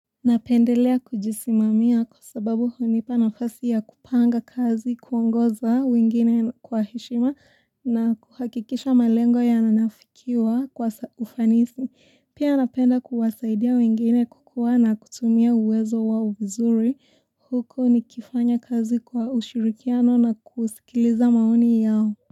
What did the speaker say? Napendelea kujisimamia kwa sababu hunipa nafasi ya kupanga kazi kuongoza wengine kwa heshima na kuhakikisha malengo yanafikiwa kwa ufanisi. Pia napenda kuwasaidia wengine kukuwa na kutumia uwezo wao vizuri. Huku nikifanya kazi kwa ushirikiano na kusikiliza maoni yao.